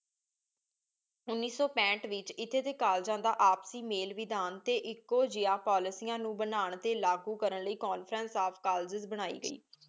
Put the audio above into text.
ਉਨੀ ਸੂ ਪੈਹੇਠ ਵਿਚ ਏਥੀ ਡੀਕਾਲਜਾਂ ਦਾ ਆਪਸੀ ਮੇਲ ਵਿਧਾਨ ਟੀ ਦੇ ਕਾਲਜਾਂ ਕੋਲ੍ਲੇਗੇ ਨੂ ਬਣਾਂ ਲੈ ਟੀ ਲਾਗੋ ਕਰਨ ਕਰਨ ਲੈ conferences of colleges ਬਣਾਈ ਗਈ